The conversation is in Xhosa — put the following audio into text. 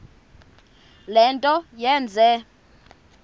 le nto yenze